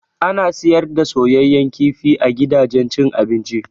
Ana siyar da soyayyan kifi a gidajen cin abinci.